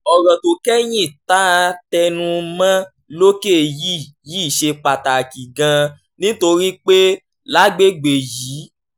ọ̀rọ̀ tó kẹ́yìn tá a tẹnu mọ́ lókè yìí yìí ṣe pàtàkì gan-an nítorí pé lágbègbè yìí